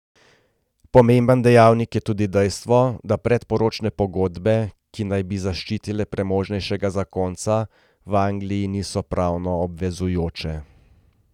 Pomemben dejavnik je tudi dejstvo, da predporočne pogodbe, ki naj bi zaščitile premožnejšega zakonca, v Angliji niso pravno obvezujoče.